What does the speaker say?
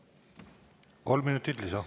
Kolm minutit lisaks.